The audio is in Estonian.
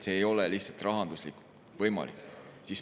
See ei ole lihtsalt rahanduslikult võimalik.